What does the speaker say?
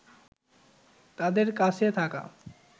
তাদের কাছে থাকা